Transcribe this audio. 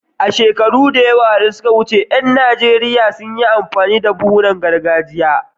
Shekaru da yawa da suka wuce, ƴan Najeriya sun yi amfani da buhunan gargajiya.